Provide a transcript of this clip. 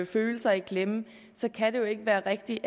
følelser i klemme kan det jo ikke være rigtigt